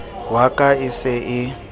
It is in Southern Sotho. wa ka e se e